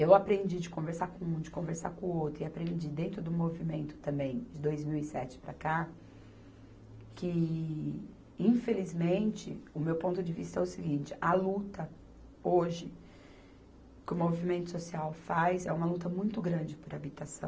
Eu aprendi de conversar com um, de conversar com o outro, e aprendi dentro do movimento também, de dois mil e sete para cá, que, infelizmente, o meu ponto de vista é o seguinte, a luta hoje, que o movimento social faz, é uma luta muito grande por habitação,